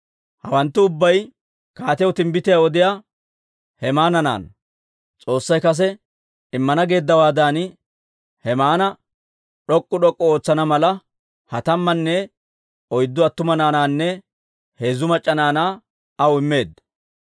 Hawanttu ubbay kaatiyaw timbbitiyaa odiyaa Hemaana naanaa. S'oossay kase immana geeddawaadan, Hemaana d'ok'k'u d'ok'k'u ootsana mala, ha tammanne oyddu attuma naanaanne heezzu mac'c'a naanaa aw immeedda.